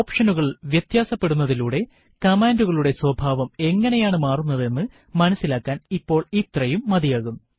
ഓപ്ഷനുകൾ വ്യതാസപെടുത്തുന്നതിലൂടെ കമാൻഡുകളുടെ സ്വഭാവം എങ്ങനെയാണു മാറുന്നത് എന്ന് മനസ്സിലാക്കാൻ ഇപ്പോൾ ഇത്രയും മതിയാകും